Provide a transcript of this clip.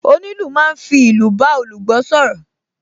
Onílù máa ń fi ìlù bá olùgbọ́ sọ̀rọ̀